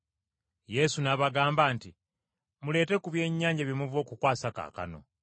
Yesu n’abagamba nti, “Muleete ku byennyanja bye muva okukwasa kaakano.”